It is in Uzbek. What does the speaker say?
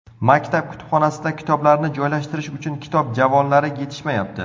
Maktab kutubxonasida kitoblarni joylashtirish uchun kitob javonlari yetishmayapti.